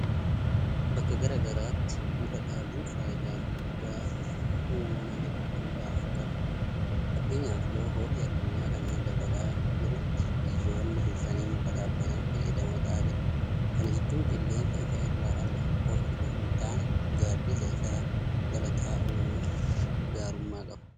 Bakka garaa garaatti muka dhaabuun faayidaa guddaa uumama hedduudhaaf qaba. Fakkeenyaaf yeroo ho'i addunyaa kanaa dabalaa jirutti biyyoonni dursanii muka dhaabbatan fayyadamoo ta'aa jiru. Kana jechuun qilleensa isa irraa argamu qofa itoo hintaane gaaddisa isaa jala taa'uunuu gaarummaa qaba.